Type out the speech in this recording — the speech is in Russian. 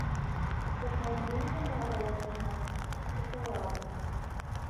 закажи мне мороженое с шоколадом